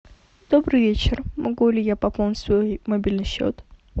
добрый вечер могу ли я пополнить свой мобильный счет